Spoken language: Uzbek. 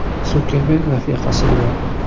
Sukerberg rafiqasi bilan.